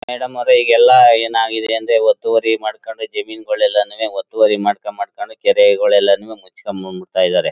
Madam ಅವ್ರೆ ಈಗೆಲ್ಲ ಏನಾಗಿದೆ ಅಂದ್ರೆ ಒತ್ತುವರಿ ಮಾಡ್ಕೊಂಡ ಜಮೀನುಗಳೆಲ್ಲನುವೇ ಒತ್ತುವರಿ ಮಾಡ್ಕೊಂಡು ಮಾಡ್ಕೊಂಡು ಕೆರೆಗಳೆಲ್ಲಾನೂವೆ ಮುಚ್ಕೊಂಡು ಬಂದು ಬಿಡ್ತಾ ಇದ್ದಾರೆ.